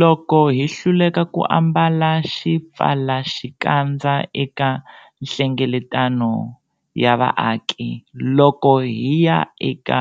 Loko hi hluleka ku ambala xipfalaxikandza eka nhlengeletano ya vaaki, loko hi ya eka